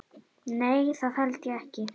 Nei það held ég ekki.